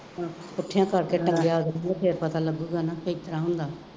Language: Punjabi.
ਪੁੱਠਿਆਂ ਕਰਕੇ ਟੰਗਿਆਂ ਅਗਲੇ ਨੇ ਫੇਰ ਪਤਾ ਲੱਗੂਗਾ ਨਾ ਕਿ ਕਿਦਾਂ ਹੁੰਦਾ